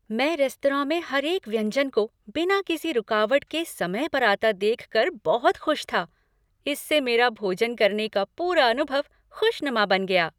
मैं रेस्तरां में हर एक व्यंजन को बिना किसी रुकावट के समय पर आता देख कर बहुत खुश था, इससे मेरा भोजन करने का पूरा अनुभव खुशनुमा बन गया।